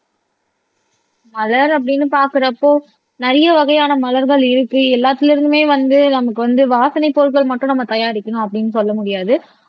மலர் அப்படின்னு பாக்குறப்போ நிறைய வகையான மலர்கள் இருக்கு எல்லாத்துல இருந்துமே வந்து நமக்கு வந்து வாசனை பொருட்கள் மட்டும் நம்ம தயாரிக்கணும் அப்படின்னு சொல்ல முடியாது